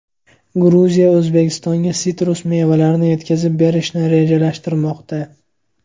Gruziya O‘zbekistonga sitrus mevalarini yetkazib berishni rejalashtirmoqda.